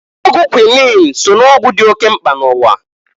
Ọgwụ kwuinin so n'ọgwụ dị oke mkpa n'ụwa.